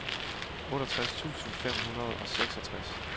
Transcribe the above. otteogtres tusind fem hundrede og seksogtres